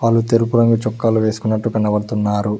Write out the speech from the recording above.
తెలుపు రంగు చొక్కాలు వేసుకున్నట్టు కనపడుతున్నారు.